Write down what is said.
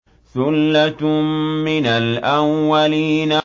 ثُلَّةٌ مِّنَ الْأَوَّلِينَ